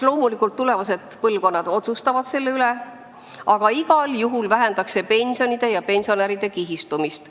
Loomulikult, tulevased põlvkonnad otsustavad selle üle, aga igal juhul vähendaks see pensionide ja pensionäride kihistumist.